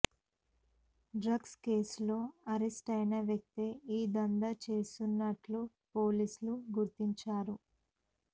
డ్ర గ్స్ కేసులో అరెస్టయిన వ్యక్తే ఈ దందా చేస్తున్నట్లు పోలీసులు గుర్తించారు